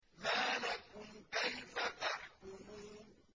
مَا لَكُمْ كَيْفَ تَحْكُمُونَ